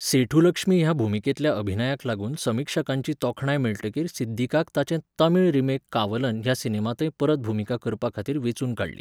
सेठुलक्ष्मी हे भुमिकेंतल्या अभिनयाक लागून समीक्षकांची तोखणाय मेळटकीर सिद्दीकाक ताचे तमिळ रिमेक 'कावलन' ह्या सिनेमांतय परत भुमिका करपाखातीर वेंचून काडली.